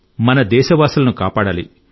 మన దేశవాసులను కాపాడాలి